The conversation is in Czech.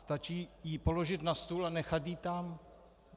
Stačí ji položit na stůl a nechat ji tam.